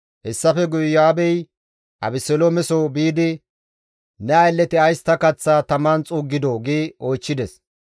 Hessafe guye Iyo7aabey Abeseloomeso biidi, «Ne aylleti ays ta kaththaa taman xuuggidoo?» gi oychchides.